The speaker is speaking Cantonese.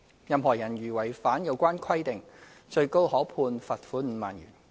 任何人如違反有關規定，最高可被判罰款5萬元。